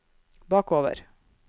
bakover